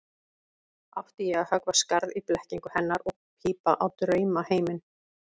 Átti ég að höggva skarð í blekkingu hennar og pípa á draumaheiminn?